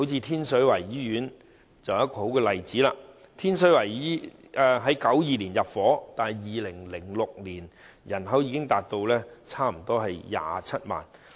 天水圍的住宅樓宇於1992年開始入伙 ，2006 年該區人口已達差不多27萬。